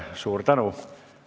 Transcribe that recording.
Suur tänu!